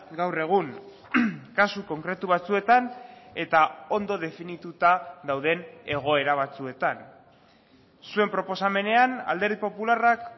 gaur egun kasu konkretu batzuetan eta ondo definituta dauden egoera batzuetan zuen proposamenean alderdi popularrak